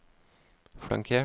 flankert